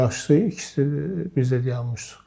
Bir aşşısı, ikisi bizlə dayanmışdı.